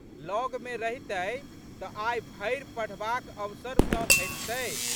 लगमे रहितै तऽ आइ भरि पढ़बाक अवसर तऽ भेटितै।